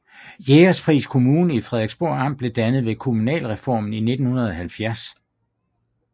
Jægerspris Kommune i Frederiksborg Amt blev dannet ved kommunalreformen i 1970